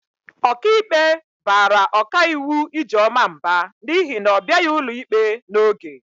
Ọkaikpe bara ọkaiwu Ijeọma mba n'ihi na ọ bịaghị ụlọikpe n'oge.